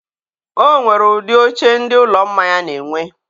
o nwere ụdị oche ndị ụlọ mmanya na-enwe.